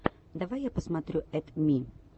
давай я посмотрю эд ми